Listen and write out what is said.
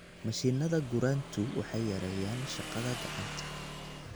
Mashiinnada gurantu waxay yareeyaan shaqada gacanta.